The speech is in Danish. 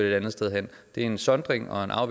et andet sted hen det er en sondring og en